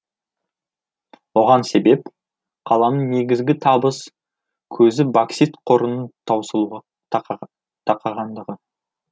оған себеп қаланың негізгі табыс көзі боксит қорының таусылуға тақағандығы